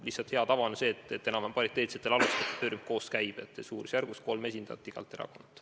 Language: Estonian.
Lihtsalt hea tava on see, et enam-vähem pariteetsetel alustel see töörühm koos käib: suurusjärgus kolm esindajat igast erakonnast.